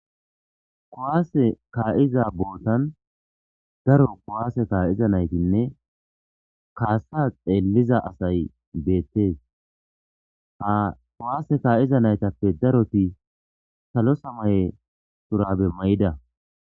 kowaase kka'iza bootan daro kowaase kaa7iza naytinne kaasa xeelliza asay beettees ha kowaase kka'iza naytappe daroti salo samaye turabe mayida